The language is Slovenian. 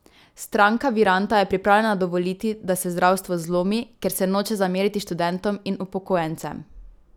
Stranka Viranta je pripravljena dovoliti, da se zdravstvo zlomi, ker se noče zameriti študentom in upokojencem?